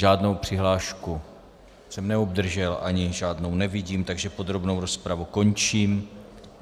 Žádnou přihlášku jsem neobdržel, ani žádnou nevidím, takže podrobnou rozpravu končím.